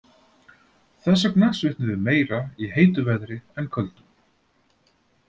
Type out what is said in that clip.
Þess vegna svitnum við meira í heitu veðri en köldu.